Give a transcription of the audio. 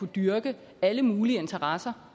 dyrke alle mulige interesser